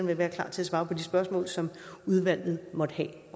vil være klar til at svare på de spørgsmål som udvalget måtte have